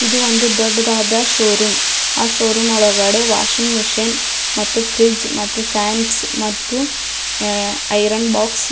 ಇದು ಒಂದು ದೊಡ್ಡದಾದ ಷೋರೂಮ್ ಆಹ್ಹ್ ಷೋರೂಮ್ ಒಳಗಡೆ ವಾಷಿಂಗ್ ಮಷೀನ್ ಮತ್ತು ಫ್ರಿಡ್ಜ್ ಮತ್ತು ಫ್ಯಾನ್ಸ್ ಮತ್ತು ಐರನ್ ಬಾಕ್ಸ್ --